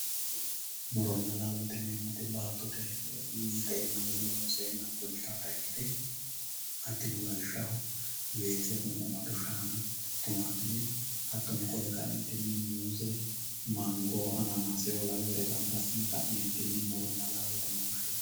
Muronna laalote yinemoti baatotte winxeenna woyi loonseenna fulitata ikkite hatino lawishaho weesr, qunqumad shaanna, tumatumme, hatono qole kaenitinninni muuze, mango ananaseoo laweyyorre gamba adine ka'nenitinni muronna laallote yine woshinanni